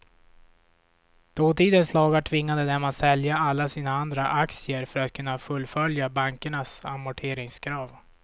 Dåtidens lagar tvingade dem att sälja alla sina andra aktier för att kunna fullfölja bankernas amorteringskrav.